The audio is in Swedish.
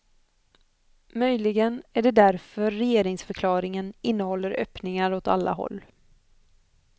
Möjligen är det därför regeringsförklaringen innehåller öppningar åt alla håll.